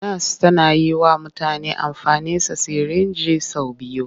Nas tana yi wa mutane amfani sa sirinji sau biyu.